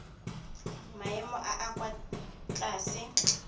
maemo a a kwa tlase